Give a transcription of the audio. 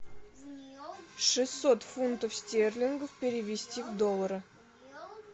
шестьсот фунтов стерлингов перевести в доллары